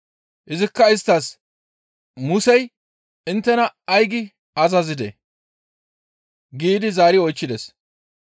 Izikka isttas, «Musey inttena ay gi azazidee?» giidi zaari oychchides.